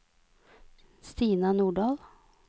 Stina Nordahl